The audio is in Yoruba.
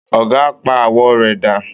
Ọ̀gà á pa àwọ̀ rẹ̀ dà